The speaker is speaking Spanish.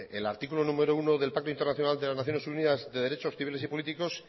el articulo numero uno del pacto internacional de las naciones unidas de derechos civiles y políticos